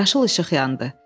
Yaşıl işıq yandı.